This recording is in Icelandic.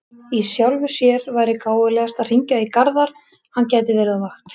Í sjálfu sér væri gáfulegast að hringja í Garðar, hann gæti verið á vakt.